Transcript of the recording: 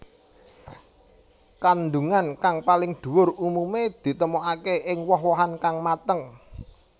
Kandungan kang paling dhuwur umume ditemokake ing woh wohan kang mateng